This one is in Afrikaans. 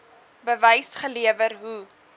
bewys gelewer hoe